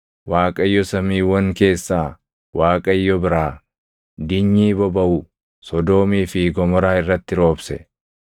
Waaqayyo samiiwwan keessaa Waaqayyo biraa, dinyii bobaʼu Sodoomii fi Gomoraa irratti roobse.